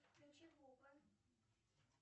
включи буба